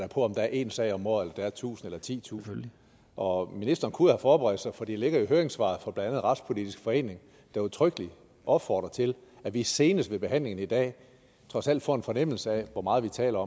om der er én sag om året eller om der er tusind eller titusind og ministeren kunne jo have forberedt sig for det ligger i høringssvaret fra blandt andet retspolitisk forening der udtrykkeligt opfordrer til at vi senest ved behandlingen i dag trods alt får en fornemmelse af hvor meget vi taler